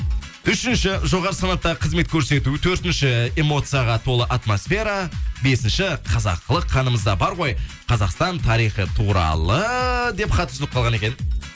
үшінші жоғары санаттағы қызмет көрсету төртінші эмоцияға толы атмосфера бесінші қазақылық қанымызда бар ғой қазақстан тарихы туралы деп хат үзіліп қалған екен